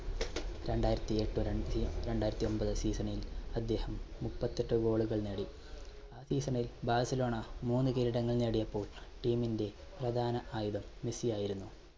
രണ്ടായിരത്തിഎട്ട്, ര~രണ്ടായിരത്തിഒൻപത് season ൽ അദ്ദേഹം മുപ്പത്തെട്ട് goal കൾ നേടി. ആ season ൽ ബാഴ്സലോണ മൂന്ന് കിരീടങ്ങൾ നേടിയപ്പോൾ team ന്റെ പ്രധാന ആയുധം മെസ്സി ആയിരുന്നു.